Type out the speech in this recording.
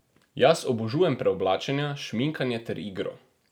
Jaz obožujem preoblačenja, šminkanje ter igro.